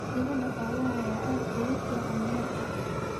Digada xoolaha ayaa aad ugu fiican beerta